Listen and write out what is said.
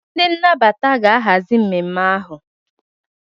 ndị nnabata ga-ahazi mmemme ahụ